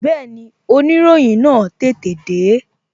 Bẹẹni, oniroyin náà tètè de